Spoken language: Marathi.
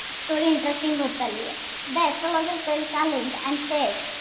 Story interesting होत चाललीय. The astrologer felt challenged and said,